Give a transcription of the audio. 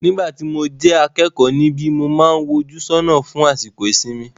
Nígbà tí mo jẹ́ akẹ́kọ̀ọ́ níbi, mo máà ń wojú lọ́nà fún àsìkò ìsinmi.